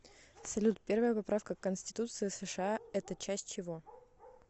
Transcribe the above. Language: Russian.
салют первая поправка к конституции сша это часть чего